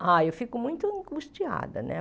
Ah, eu fico muito angustiada, né?